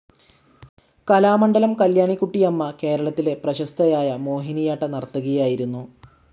കലാമണ്ഡലം കല്യാണികുട്ടിയമ്മ കേരളത്തിലെ പ്രീശസ്തയായ മോഹിനിയാട്ട നർത്തകിയാആയിരുന്നു.